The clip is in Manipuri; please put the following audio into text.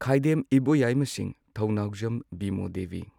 ꯈꯥꯏꯗꯦꯝ ꯏꯕꯣꯌꯥꯏꯃ ꯁꯤꯡꯍ ꯊꯧꯅꯥꯎꯖꯝ ꯕꯤꯃꯣ ꯗꯦꯕꯤ